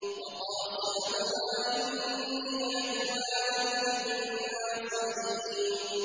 وَقَاسَمَهُمَا إِنِّي لَكُمَا لَمِنَ النَّاصِحِينَ